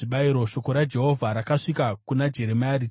Shoko raJehovha rakasvika kuna Jeremia, richiti: